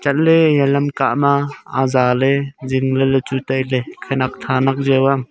le iya lam kah ma azaley zing ley chu tailey khenek tha nak jaq ang.